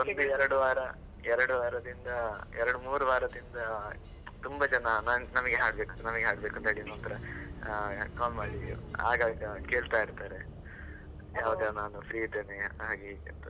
ಒಂದು ಎರಡು ವಾರ ಎರಡು ವಾರದಿಂದ, ಎರಡು ಮೂರು ವಾರದಿಂದ, ತುಂಬಾ ಜನ ನಮಗೆ ಹಾಡ್ಬೇಕು ನಮಗೆ ಹಾಡಬೇಕು ಅಂತ ಆ call ಮಾಡಿ ಆಗಾಗ ಕೇಳ್ತಾ ಇರ್ತಾರೆ, ನಾನು free ಇದ್ದೇನೆ ಹಾಗೆ ಹೀಗೆ ಅಂತ.